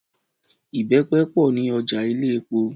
Ibepe pọ̀ ní ọjà ilé-epo.